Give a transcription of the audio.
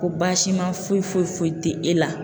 Ko baasiman foyi foyi foyi te e la.